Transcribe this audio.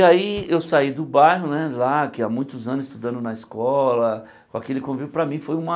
E aí eu saí do bairro, né, lá, que há muitos anos estudando na escola, com aquele convívio, para mim foi uma...